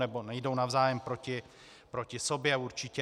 Nebo nejdou navzájem proti sobě, určitě.